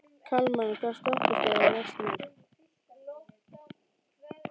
Kalman, hvaða stoppistöð er næst mér?